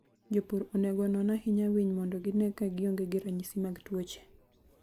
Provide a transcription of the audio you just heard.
Jopur onego onon ahinya winy mondo gine ka gionge gi ranyisi mag tuoche.